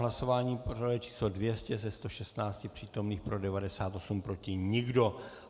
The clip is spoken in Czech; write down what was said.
Hlasování pořadové číslo 200, ze 116 přítomných pro 98, proti nikdo.